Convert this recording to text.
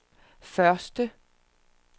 første